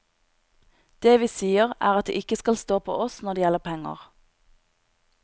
Det vi sier, er at det ikke skal stå på oss når det gjelder penger.